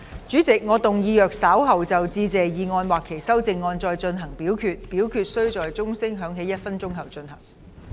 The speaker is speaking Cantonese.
主席，我動議若稍後就"致謝議案"或其修正案再進行點名表決，表決須在鐘聲響起1分鐘後進行。